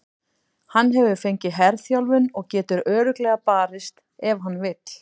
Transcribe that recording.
Hann hefur fengið herþjálfun og getur örugglega barist ef hann vill.